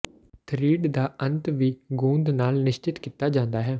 thread ਦਾ ਅੰਤ ਵੀ ਗੂੰਦ ਨਾਲ ਨਿਸ਼ਚਿਤ ਕੀਤਾ ਜਾਂਦਾ ਹੈ